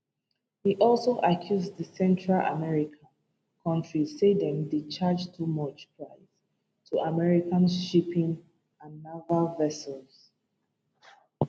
e also accuse di central american kontri say dem dey charge too much price to american shipping and naval vessels